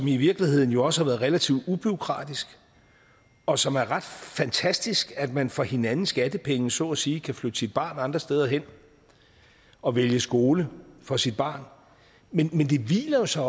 i virkeligheden også har været relativt ubureaukratisk og som er ret fantastisk ved at man for hinandens skattepenge så at sige kan flytte sit barn andre steder hen og vælge skole for sit barn men det hviler jo så